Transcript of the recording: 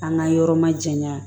An ka yɔrɔ ma jayan